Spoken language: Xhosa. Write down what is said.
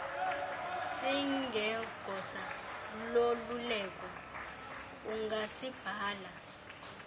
singegosa loluleko ungasibhala